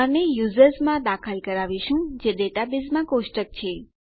અને યુઝર્સ માં દાખલ કરાવીશું જે ડેટાબેઝમાં કોષ્ટક છે